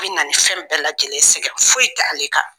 A bɛ na nin fɛn bɛɛ lajɛlen sɛgɛn foyi tɛ ale ka.